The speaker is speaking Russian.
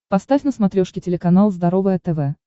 поставь на смотрешке телеканал здоровое тв